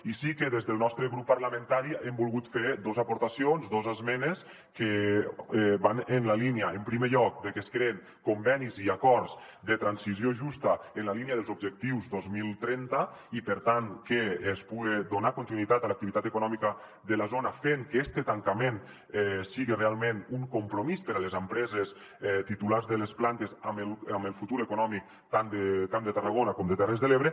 i sí que des del nostre grup parlamentari hem volgut fer dos aportacions dos esmenes que van en la línia en primer lloc de que es creïn convenis i acords de transició justa en la línia dels objectius dos mil trenta i per tant que es puga donar continuïtat a l’activitat econòmica de la zona fent que este tancament siga realment un compromís per a les empreses titulars de les plantes amb el futur econòmic tant del camp de tarragona com de terres de l’ebre